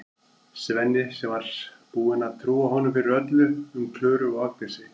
Svenni sem var búinn að trúa honum fyrir öllu um Klöru og Agnesi.